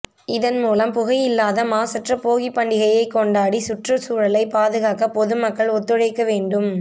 இதன் மூலம் புகையில்லாத மாசற்ற போகி பண்டிகையை கொண்டாடி சுற்று சூழலை பாதுகாக்க பொதுமக்கள் ஒத்துழைக்க வேண்டும்